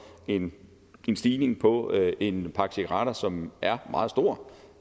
en stigning på en pakke cigaretter som er meget stor